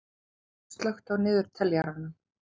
Hagbert, slökktu á niðurteljaranum.